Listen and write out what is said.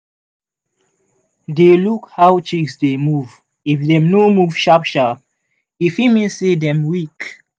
dey look how chicks dey move if dem no move sharp-sharp e fit mean say dem weak.